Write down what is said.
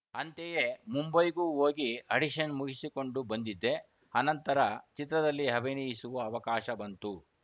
ಅಂತೆಯೇ ಮುಂಬೈಗೂ ಹೋಗಿ ಆಡಿಷನ್‌ ಮುಗಿಸಿಕೊಂಡು ಬಂದಿದ್ದೆ ಆನಂತರ ಚಿತ್ರದಲ್ಲಿ ಅಭಿನಯಿಸುವ ಅವಕಾಶ ಬಂತು